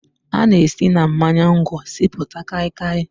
A na-esi na mmanya ngwọ sipụta Kai kai